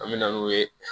An me na n'u ye